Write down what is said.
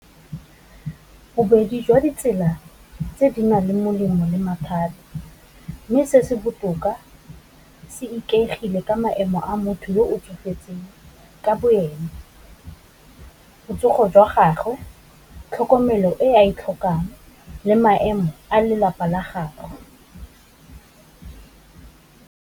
Bobedi jwa ditsela tse di nang le molemo le mathata, mme se se botoka se ikaegile ka maemo a motho yo o tsofetseng ka bo ene, botsogo jwa gagwe, tlhokomelo e a e tlhokang, le maemo a lelapa la gage.